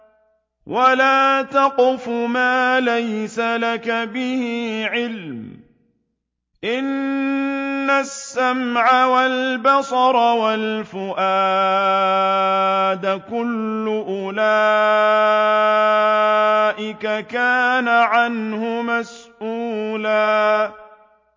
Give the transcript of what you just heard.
وَلَا تَقْفُ مَا لَيْسَ لَكَ بِهِ عِلْمٌ ۚ إِنَّ السَّمْعَ وَالْبَصَرَ وَالْفُؤَادَ كُلُّ أُولَٰئِكَ كَانَ عَنْهُ مَسْئُولًا